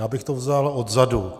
Já bych to vzal odzadu.